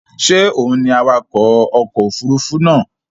Ṣé òun ni awakọ̀ ọkọ̀ òfurufú náà